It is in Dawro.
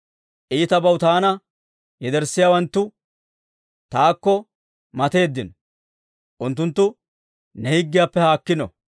Iitabaw taana yederssiyaawanttu, taakko mateeddino; unttunttu ne higgiyaappe haakkiino.